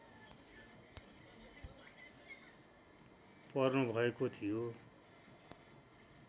पर्नुभएको थियो